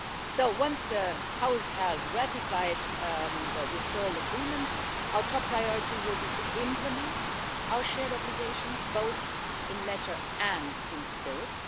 So once the House has ratified the Withdrawal Agreement our top priority will be to implement our shared obligations, both in letter and in spirit.